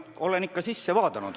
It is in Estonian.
Jah, olen ikka vaadanud.